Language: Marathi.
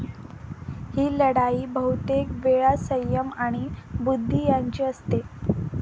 ही लढाई बहुतेक वेळा सय्यम आणि बुद्धी यांची असते.